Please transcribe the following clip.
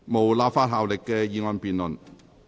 無立法效力的議案辯論。